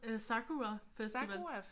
Øh Sakura-festival